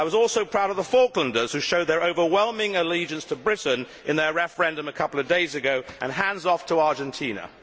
I was also proud of the Falklanders who showed their overwhelming allegiance to Britain in their referendum a couple of days ago, so hands off' to Argentina.